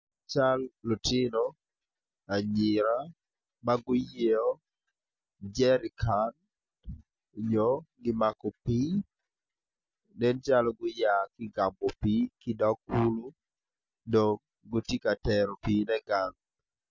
Cal lutino anyira ma guyeyo jerikan onyo gimako pii nen calo guya ki igamo pii ki idog kulu dong giti ka teru pine gang